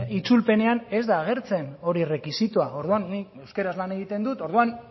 itzulpenean ez da agertzen hori errekisitoa orduan nik euskaraz lan egiten dut orduan